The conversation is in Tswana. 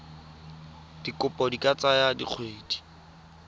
dikopo di ka tsaya dikgwedi